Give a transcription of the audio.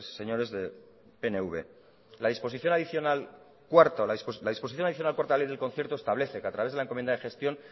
señores del pnv la disposición adicional cuarta de la ley de concierto establece que a través de la encomendada gestión